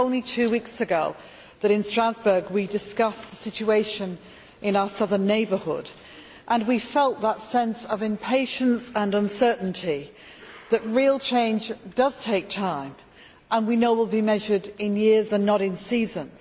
It was only two weeks ago in Strasbourg that we discussed the situation in our Southern Neighbourhood and we felt that sense of impatience and uncertainty, that real change does takes time and we know it will be measured in years and not in seasons.